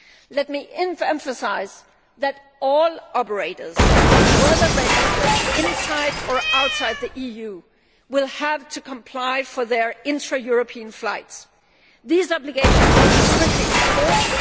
Let me emphasise that all operators whether registered inside or outside the EU will have to comply for their intra European flights. These obligations will be strictly enforced.